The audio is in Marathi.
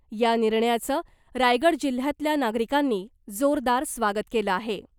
या निर्णयाचं रायगड जिल्हयातल्या नागरिकांनी जोरदार स्वागत केलं आहे .